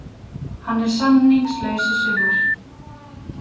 Hann er samningslaus í sumar.